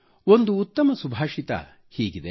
ಒಂದು ಉತ್ತಮ ಸುಭಾಷಿತ ಹೀಗಿದೆ